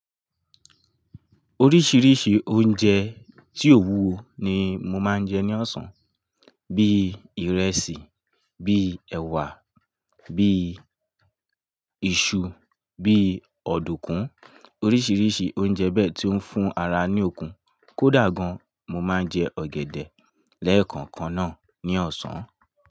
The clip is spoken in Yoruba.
Oríṣiríṣi oúnjẹ tí ò wù wo ni mo máa ń jẹ ní ọ̀sán. Bíi ìrẹsì, bíi ẹwà, bíi iṣu, bíi ọ̀dùkún. Oríṣiríṣi oúnjẹ bẹ́ẹ̀ tí ó ń fún ara ní okun. Kó dà gan mo máa ń jẹ ọ̀gẹ̀dẹ̀ lẹ́kankan náà ní ọ̀sán.